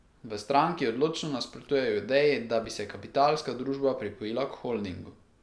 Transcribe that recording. V stranki odločno nasprotujejo ideji, da bi se Kapitalska družba pripojila k holdingu.